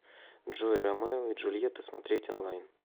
джой ромео и джульета смотреть онлайн